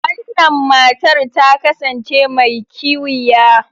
Wannan matar ta kasance mai kiwiya.